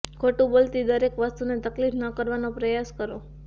ખોટું બોલતી દરેક વસ્તુને તકલીફ ન કરવાનો પ્રયાસ કરો